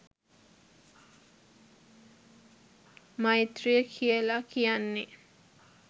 මෛත්‍රිය කියල කියන්නේ